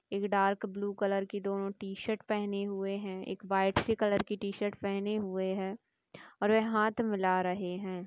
एक dark blue colour की T-shirt पहने हुए हैं एक व्हाइट से कलर की टी-शर्ट पहने हुए हैंऔर वे हाथ मिला रहे हैं।